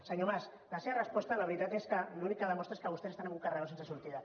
senyor mas la seva resposta la veritat és que l’únic que demostra és que vostès estan en un carreró sense sortida